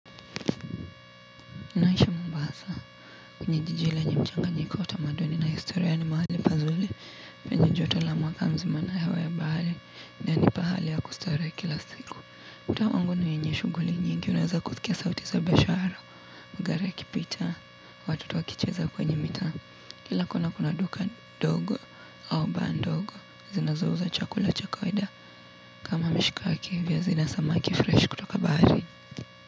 Ninaishi mombasa kwenye jiji lenye mchanganyiko wa tamaduni na historia ni mahali pazuri penye joto la mwaka mzima na hewa ya bahari na nipahali ya kustarehe kila siku mtaa wangu ni wenye shughuli nyingi unaweza kusikia sauti za biashara mgari ya kipita watoto wakicheza kwenye mitaa kila kona kuna duka dogo au baa ndogo zinazo uza chakula cha kawaida kama mishikaki viazi na samaki fresh kutoka baharini.